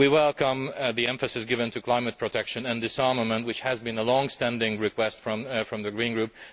We welcome the emphasis given to climate protection and disarmament, which has been a long standing request from the Green Group.